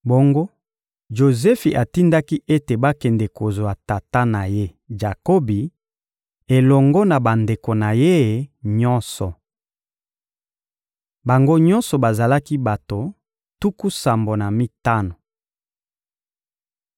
Bongo, Jozefi atindaki ete bakende kozwa tata na ye Jakobi elongo na bandeko na ye nyonso. Bango nyonso bazalaki bato tuku sambo na mitano.